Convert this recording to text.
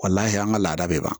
an ka laada bɛ ban